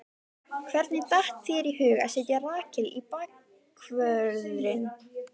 Hvernig datt þér í hug að setja Rakel í bakvörðinn?